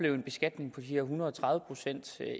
en beskatning på de her en hundrede og tredive procent